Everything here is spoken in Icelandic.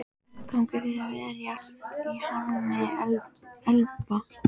Gangi þér allt í haginn, Elba.